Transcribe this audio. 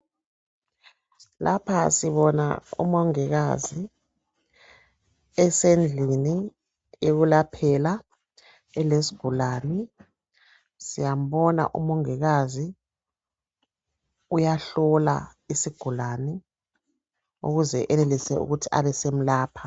Lapha sibona umongikazi esendlini ekulaphela ilezigulani siyambona umongikazi uyahlola isigulane ukuze enelise ukuthi abesemlapha.